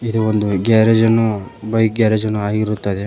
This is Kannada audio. ಇದು ಒಂದು ಗ್ಯಾರೇಜ್ ನ್ನು ಬೈಕ್ ಗ್ಯಾರೇಜ್ ನ್ನು ಆಗಿರುತ್ತದೆ.